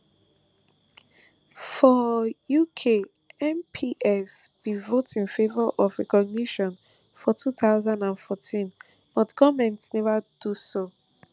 for uk mps bin vote in favour of recognition for two thousand and fourteen but goment neva do so